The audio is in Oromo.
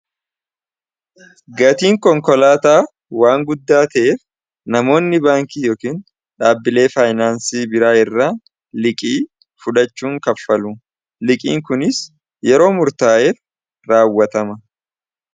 gatiin konkolaataa waan guddaa ta'eef namoonni baankii yookiin dhaabbilee faayinaansii biraa irra liqii fudachuun kaffalu liqiin kuniis yeroo murtaa'eer raawwatama